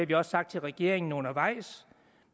vi også sagt til regeringen undervejs